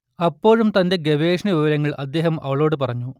അപ്പോഴും തന്റെ ഗവേഷണവിവരങ്ങൾ അദ്ദേഹം അവളോട് പറഞ്ഞു